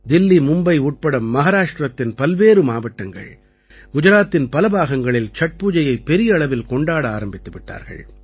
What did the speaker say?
தில்லி மும்பை உட்பட மஹாராஷ்டிரத்தின் பல்வேறு மாவட்டங்கள் குஜராத்தின் பல பாகங்களில் சட்பூஜையைப் பெரிய அளவில் கொண்டாட ஆரம்பித்து விட்டார்கள்